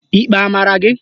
Ikpe a mara ya?